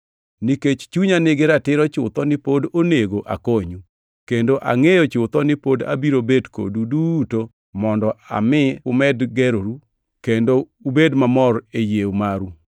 Nikech chunya nigi ratiro chutho ni pod onego akonyu, kendo angʼeyo chutho ni pod abiro bet kodu duto mondo ami umed geroru kendo ubed mamor e yie maru,